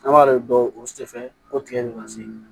An b'a de dɔn o sɛ fɛn o tigɛnɛ ma se